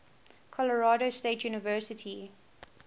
colorado state university